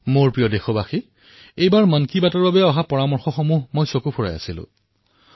মোৰ মৰমৰ দেশবাসীসকল এইবাৰৰ মন কী বাতলৈ অহা পৰামৰ্শসমূহৰ মই প্ৰত্যক্ষ কৰি আছিলোঁ